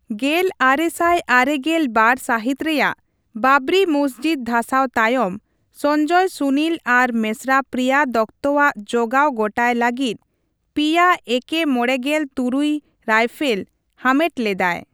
ᱜᱮᱞ ᱟᱨᱮ ᱥᱟᱭ ᱟᱨᱮᱜᱮᱞ ᱵᱟᱨ ᱥᱟᱹᱦᱤᱛ ᱨᱮᱭᱟᱜ ᱵᱟᱵᱽᱨᱤ ᱢᱚᱥᱡᱤᱫ ᱫᱷᱟᱥᱟᱣ ᱛᱟᱭᱚᱢ, ᱥᱚᱧᱡᱚᱭ ᱥᱩᱱᱤᱞ ᱟᱨ ᱢᱮᱥᱨᱟ ᱯᱨᱤᱭᱟ ᱫᱚᱛᱛᱚ ᱟᱜ ᱡᱚᱜᱟᱣ ᱜᱚᱴᱟᱭ ᱞᱟᱹᱜᱤᱫ ᱓ᱭᱟ ᱮᱠᱮᱼᱢᱚᱲᱮᱜᱮᱞ ᱛᱩᱨᱩᱭᱨᱟᱭᱯᱷᱮᱞ ᱦᱟᱢᱮᱴ ᱞᱮᱫᱟᱭ ᱾